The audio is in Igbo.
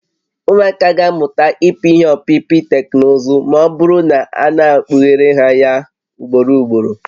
Ụmụaka ga-amụta ịpị ihé ọpịpị teknụzụ ma ọ bụrụ na a na-ekpughere ha ya ugboro ugboro